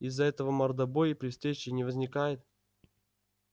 из-за этого мордобой при встрече не возникает